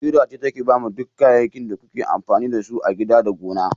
Ƙira ce take bamu duk kayyakin da kuke amfani da su a gida da gona.